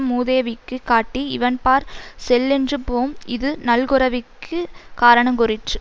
மூதேவிக்குக் காட்டி இவன்பாற் செல்லென்று போம் இது நல்குரவிற்குக் காரணங் கூறிற்று